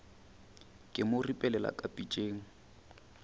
ka mo ripelela ka pitšeng